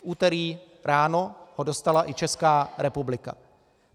V úterý ráno ho dostala i Česká republika.